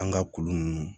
An ka kulu ninnu